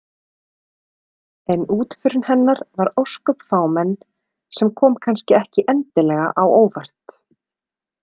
En útförin hennar var ósköp fámenn sem kom kannski ekki endilega á óvart.